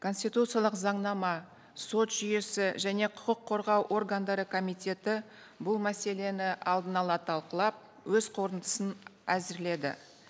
конституциялық заңнама сот жүйесі және құқық қорғау органдары комитеті бұл мәселені алдын ала талқылап өз қорытындысын әзірледі